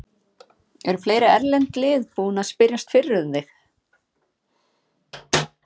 Eru fleiri erlend lið búin að spyrjast fyrir um þig?